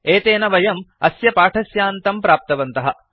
एतेन वयम् अस्य पाठस्यान्तं प्राप्तवन्तः